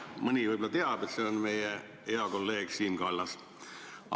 " Mõni võib-olla teab, et see on meie hea kolleeg Siim Kallas.